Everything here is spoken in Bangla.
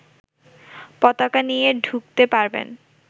পতাকা নিয়ে ঢুকতে পারবেন